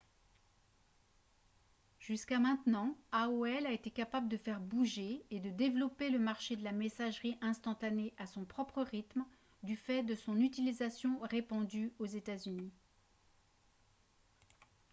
jusqu'à maintenant aol a été capable de faire bouger et de développer le marché de la messagerie instantanée à son propre rythme du fait de son utilisation répandue aux états-unis